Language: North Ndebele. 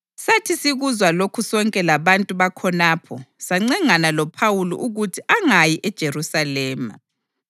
Sathi sikuzwa lokhu sonke labantu bakhonapho sancengana loPhawuli ukuthi angayi eJerusalema.